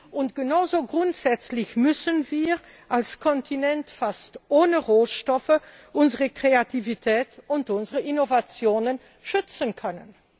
Und genauso grundsätzlich müssen wir als Kontinent fast ohne Rohstoffe unsere Kreativität und unsere Innovationen schützen können.